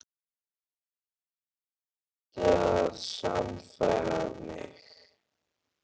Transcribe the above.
Því hún reyndi að sannfæra mig.